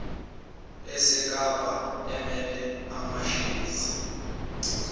esekapa emele amashezi